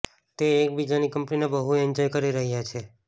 તે એકબીજાની કંપનીને બહુ એન્જોય કરી રહ્યા છે